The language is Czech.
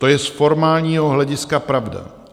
To je z formálního hlediska pravda.